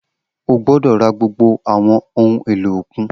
O gbọdọ ra gbogbo awọn ohun elo okun